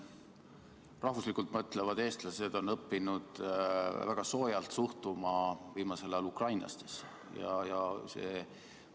Rahvuslikult mõtlevad eestlased on viimasel ajal õppinud väga soojalt suhtuma ukrainlastesse.